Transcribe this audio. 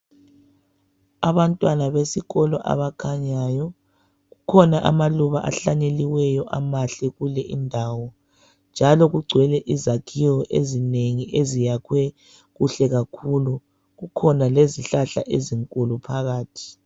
Abantwana besikolo abakhanyayo, kukhona amaluba ahlanyeliweyo, amahle kule indawo njalo kugcwele izakhiwo ezinengi eziyakhwe kuhle kakhulu. Kukhona lezihlahla ezinkulu phakathi.